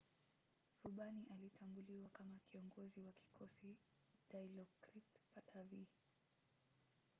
rubani alitambuliwa kama kiongozi wa kikosi dilokrit pattavee